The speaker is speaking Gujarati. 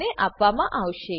ને આપવામા આવશે